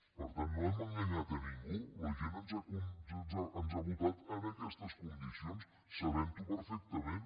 per tant no hem enganyat a ningú la gent ens ha votat en aquestes condicions sabentho perfectament